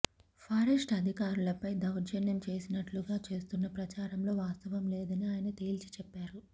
forest అధికారులపై దౌర్జన్యం చేసినట్టుగా చేస్తున్న ప్రచారంలో వాస్తవం లేదని ఆయన తేల్చి చెప్పారు